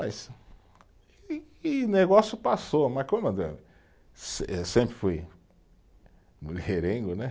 E e o negócio passou, mas como, se sempre fui mulherengo, né?